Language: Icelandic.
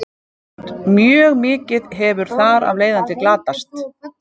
Mjög mikið hefur þar af leiðandi glatast.